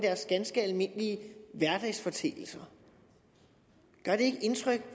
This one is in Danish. ganske almindelige hverdagsforeteelser gør det ikke indtryk